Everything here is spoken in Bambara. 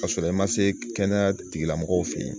Ka sɔrɔ i ma se kɛnɛya tigi lamɔgɔw fɛ ye